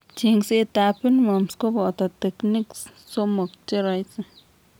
Cheng'seet ab pinworms kobooto techniques somok cheroisi